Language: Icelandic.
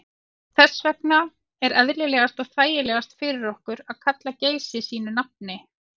Þess vegna er eðlilegast og þægilegast fyrir okkur að kalla Geysi sínu nafni.